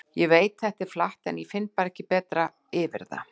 Ég veit þetta er flatt, en ég finn bara ekkert betra yfir það.